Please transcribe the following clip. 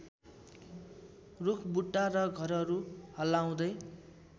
रूखबुट्टा र घरहरू हल्लाउँदै